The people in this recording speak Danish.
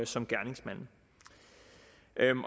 som gerningsmanden